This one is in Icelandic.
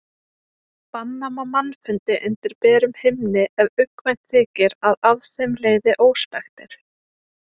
Banna má mannfundi undir berum himni ef uggvænt þykir að af þeim leiði óspektir.